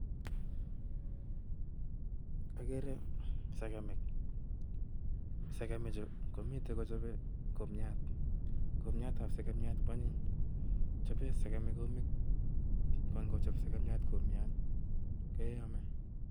Agere sekemik. Sekemik chu, komitei kochope kumiat. Kumiatab sekemiat ko anyiny. Chobee sekemik kumik. Ko ngochop sekemiat kumiat, keame